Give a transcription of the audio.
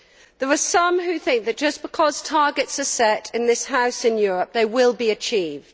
There are some who think that just because targets are set in this House in Europe, they will be achieved.